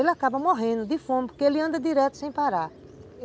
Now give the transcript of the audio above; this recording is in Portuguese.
Ele acaba morrendo de fome porque ele anda direto sem parar.